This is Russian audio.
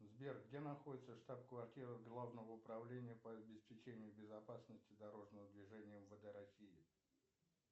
сбер где находится штаб квартира главного управления по обеспечению безопасности дорожного движения мвд россии